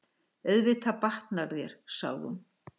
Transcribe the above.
Auðvitað batnar þér, sagði hún.